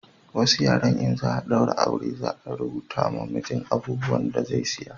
Wasu yaren in za a daura aure za a rubuta ma mijin abubuwan da zai saya